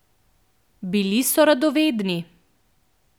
Bili so radovedni.